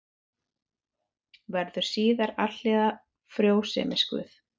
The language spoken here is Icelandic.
Verður síðar alhliða frjósemisguð.